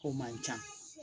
O man ca